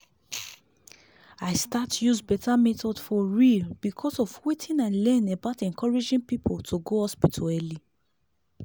i start use better method for real because of wetin i learn about encouraging people to go hospital early.